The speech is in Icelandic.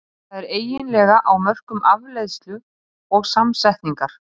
Það er eiginlega á mörkum afleiðslu og samsetningar.